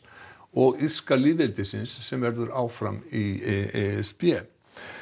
og írska lýðveldisins sem verður áfram í e s b